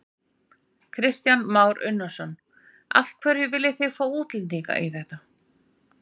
Kristján Már Unnarsson: Af hverju viljið þið fá útlendinga í þetta?